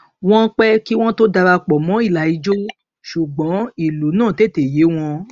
wọn pẹ kí wọn tó dara pọ mọ ìlà ijó sugbọn ìlú náà tètè yé wọn